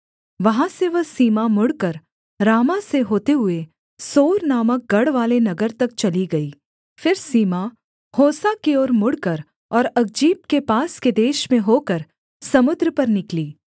वहाँ से वह सीमा मुड़कर रामाह से होते हुए सोर नामक गढ़वाले नगर तक चली गई फिर सीमा होसा की ओर मुड़कर और अकजीब के पास के देश में होकर समुद्र पर निकली